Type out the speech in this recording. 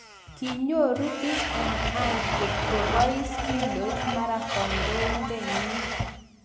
kinyoru BMI kotke poos kiloit mara koindanyin